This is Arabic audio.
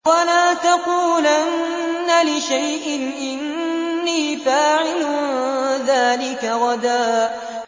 وَلَا تَقُولَنَّ لِشَيْءٍ إِنِّي فَاعِلٌ ذَٰلِكَ غَدًا